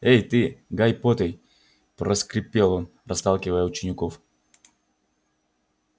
эй ты гайи поттей проскрипел он расталкивая учеников